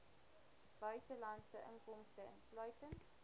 buitelandse inkomste insluitend